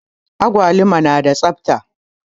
Anguwan nan yana da tsafta.